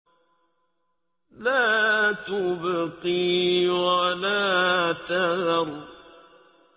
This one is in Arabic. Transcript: لَا تُبْقِي وَلَا تَذَرُ